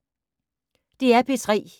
DR P3